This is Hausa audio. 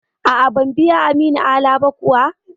A'a, ban biya Aminu Ala ba kuwa.